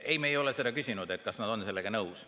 Ei, me ei ole seda küsinud, kas nad on sellega nõus.